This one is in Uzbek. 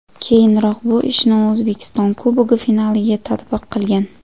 Keyinroq bu ishni u O‘zbekiston Kubogi finaliga tatbiq qilgan.